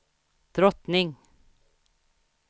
drottning